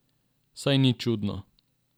Saj ni čudno.